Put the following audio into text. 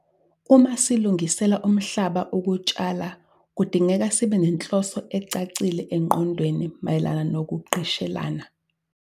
Uma silungisela umhlaba ukutshala kudingeka sibe nenhloso ecacile engqondweni mayelana nokugqishelana.